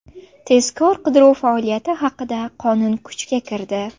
Tezkor-qidiruv faoliyati haqida qonun kuchga kirdi.